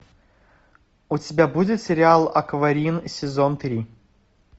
у тебя будет сериал акварин сезон три